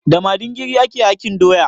Da madingiri ake hakin doya.